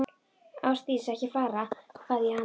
Ásdís, ekki fara, bað ég hana.